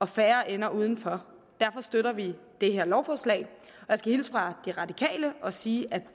færre ender udenfor derfor støtter vi det her lovforslag jeg skal hilse fra de radikale og sige at